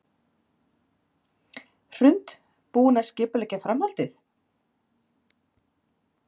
Hrund: Búinn að skipuleggja framhaldið?